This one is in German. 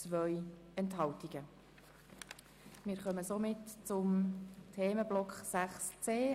Spezialverträge im Altersbereich auf das Notwendigste (Massnahme 44.3.4):